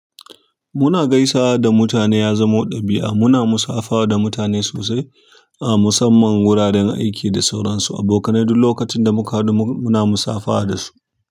Muna gaisawa da mutane ya zamo ɗabi'anmu. Muna musafaha da mutane sosai a musamman wuraren aiki da sauransu. Abokanai duk lokacin da muka haɗu muna musafaha da su.